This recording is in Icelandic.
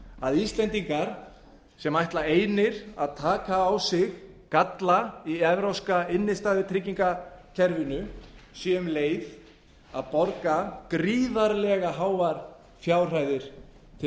að íslendingar sem ætla einir að taka á sig galla í evrópska innstæðutrygginga kerfinu séu um leið að borga gríðarlega háar fjárhæðir til